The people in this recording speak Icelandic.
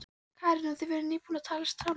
Karen: Og þið voruð nýbúnir að talast saman?